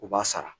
U b'a sara